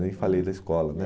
Nem falei da escola, né?